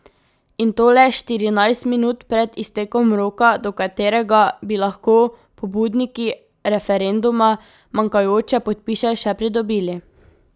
In to le štirinajst minut pred iztekom roka, do katerega bi lahko pobudniki referenduma manjkajoče podpise še pridobili.